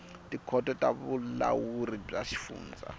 tikhoto ta vulawuri bya swifundza